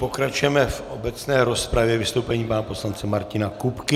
Pokračujeme v obecné rozpravě vystoupením pana poslance Martina Kupky.